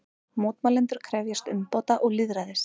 Mótmælendur krefjast umbóta og lýðræðis